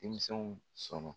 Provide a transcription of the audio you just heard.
Denmisɛnw sɔn na.